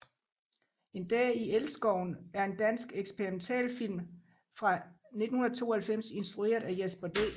En dag i elskoven er en dansk eksperimentalfilm fra 1992 instrueret af Jesper D